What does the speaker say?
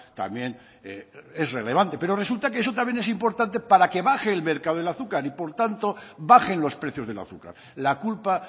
también es relevante pero resulta que eso también es importante para que baje el mercado del azúcar y por tanto bajen los precios del azúcar la culpa